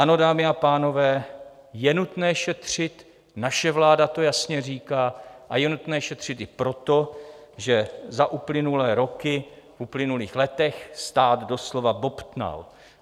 Ano, dámy a pánové, je nutné šetřit, naše vláda to jasně říká, a je nutné šetřit i proto, že za uplynulé roky, v uplynulých letech, stát doslova bobtnal.